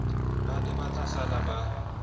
ba ne ba tlasala ba